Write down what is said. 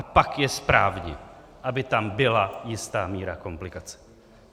A pak je správně, aby tam byla jistá míra komplikací.